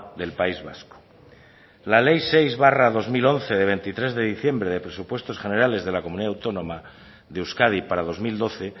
del país vasco la ley seis barra dos mil once de veintitrés de diciembre de presupuestos generales de la comunidad autónoma de euskadi para dos mil doce